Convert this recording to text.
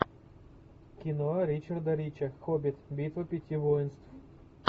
кино ричарда рича хоббит битва пяти воинств